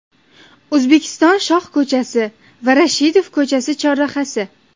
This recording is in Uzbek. O‘zbekiston shoh ko‘chasi va Rashidov ko‘chasi chorrahasi.